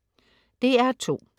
DR2: